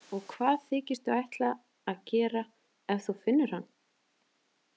Og hvað þykistu ætla að gera ef þú finnur hann?